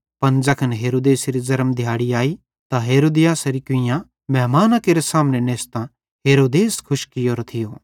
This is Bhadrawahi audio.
पन ज़ैखन हेरोदेसेरी ज़र्म दिहैड़ी आई त हेरोदियासेरे कुइयां मेहमाना केरे सामने नेच़तां हेरोदेस खुश कियोरो थियो